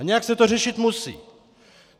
A nějak se to řešit musí.